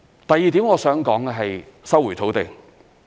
第二點我想談的是收回土地。